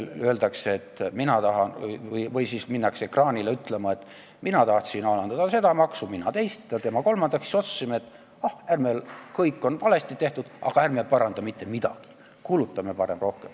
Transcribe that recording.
Öeldakse või minnakse ekraanile ütlema, et mina tahtsin alandada seda maksu, tema teist ja tema kolmandat ja siis otsustasime, et ah, kõik on valesti tehtud, aga ärme paranda mitte midagi, kulutame parem rohkem.